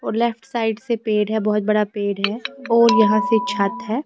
और left side से पेड़ है बहुत बड़ा पेड़ है और यहां से छत है।